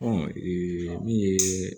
min ye